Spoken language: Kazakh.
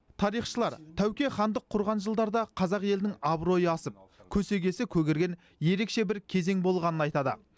тарихшылар тәуке хандық құрған жылдарда қазақ елінің абыройы асып көсегесі көгерген ерекше бір кезең болғанын айтады